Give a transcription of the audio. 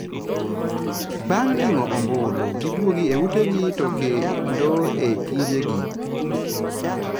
Baang' ling'o ombulu giduogi ei ute gi to kendo e tije gi."